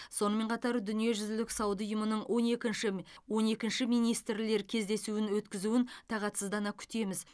сонымен қатар дүниежүзілік сауда ұйымының он екінші он екінші министрлер кездесуін өткізуін тағатсыздана күтеміз